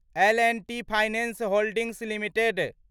L and T finance holdings limited